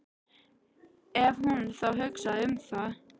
Ef hún þá hugsaði um það.